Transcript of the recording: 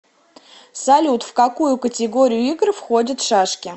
салют в какую категорию игр входят шашки